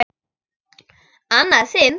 Annað sinn?